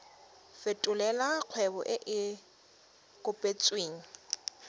fetolela kgwebo e e kopetswengcc